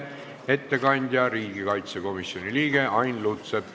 Ettekandja on riigikaitsekomisjoni liige Ain Lutsepp.